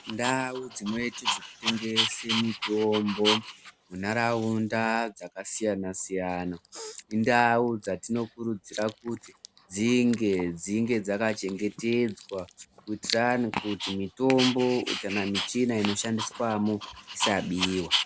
Ndau dzinoite zvekutengese mitombo munharaunda dzakasiyana siyana inadu dzatinokirudzira kuti dzinge dzinge dzakachengetedzwa kuitiranu kuti mitombo kana michina inoshandiswamo isabiwa.